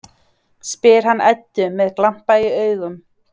spyr hann Eddu með glampa í augum.